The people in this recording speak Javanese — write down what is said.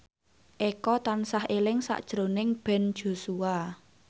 Eko tansah eling sakjroning Ben Joshua